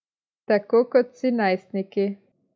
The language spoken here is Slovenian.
Tako kot vsi najstniki.